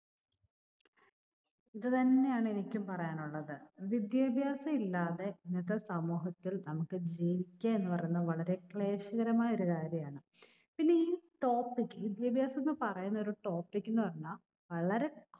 ഇത് തന്നെയാണ് എനിക്കും പറയാനുള്ളത്. വിദ്യാഭ്യാസം ഇല്ലാതെ ഇന്നത്തെ സമൂഹത്തിൽ നമുക്ക് ജീവിക്കുക എന്ന് പറയുന്നത് വളരെ ക്ലേശകരമായ ഒരു കാര്യമാണ്. പിന്നെ ഈ topic വിദ്യാഭ്യാസം എന്ന് പറയുന്ന ഒരു topic എന്ന് പറഞ്ഞാൽ വളരെ